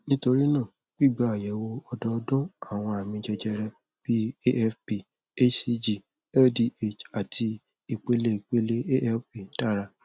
nítorí náà gbígba àyẹwò ọdọọdún àwọn àmì jẹjẹrẹ bíi afp hcg ldh àti ìpele ìpele alp dára